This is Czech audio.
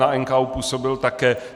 Na NKÚ působil také.